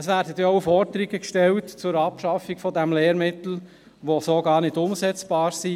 Es werden denn auch Forderungen zur Abschaffung dieses Lehrmittels gestellt, die so gar nicht umsetzbar sind.